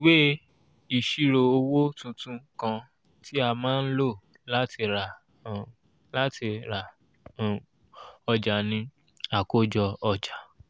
ìwé ìṣírò owó tuntun kan tí a má ń lò láti ra um láti ra um ọjà ni àkójọ ọjà.